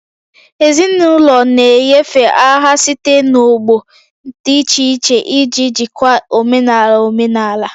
Ezinụlọ na-enyefe aha site n'ọgbọ dị iche iche iji jikwaa omenala omenala